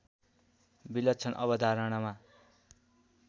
विलक्षण अवधारणामा